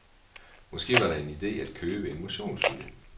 Måske var det en ide at købe en motionscykel?